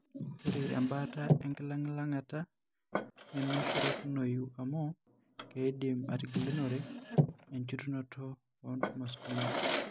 Ore embaata enkilang'ilang'ata nemenyorikinoyu amu keidim atigilunore enchetunoto oontumors kumok.